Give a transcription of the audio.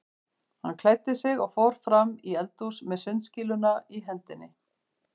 Hann klæddi sig og fór fram í eldhús með sundskýluna í hendinni.